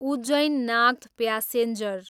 Ujjain, Nagda passenger